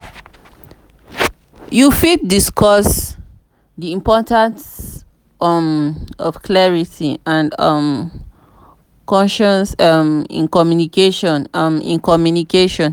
you fit discuss di importance um of clarity and um concision um in communication. um in communication.